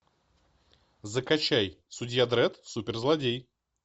закачай судья дредд суперзлодей